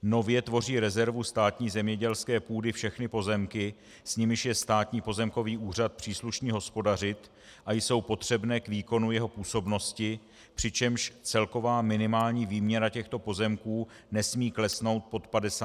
Nově tvoří rezervu státní zemědělské půdy všechny pozemky, s nimiž je Státní pozemkový úřad příslušný hospodařit a jsou potřebné k výkonu jeho působnosti, přičemž celková minimální výměra těchto pozemků nesmí klesnout pod 50 tisíc hektarů.